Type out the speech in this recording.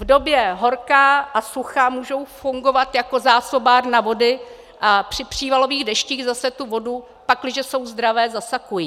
V době horka a sucha můžou fungovat jako zásobárna vody a při přívalových deštích zase tu vodu, pakliže jsou zdravé, zasakují.